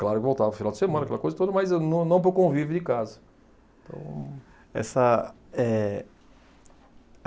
Claro que eu voltava final de semana, aquela coisa toda, mas eu não não para o convívio de casa então. Essa eh